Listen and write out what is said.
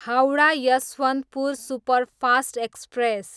Howrah, Yesvantpur superfast express